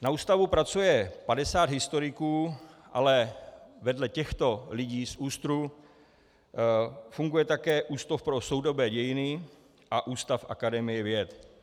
Na ústavu pracuje 50 historiků, ale vedle těchto lidí z ÚSTR funguje také Ústav pro soudobé dějiny a ústav Akademie věd.